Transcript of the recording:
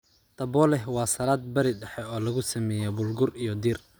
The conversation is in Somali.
Tabbouleh waa salad bari dhexe oo lagu sameeyay bulgur iyo dhir.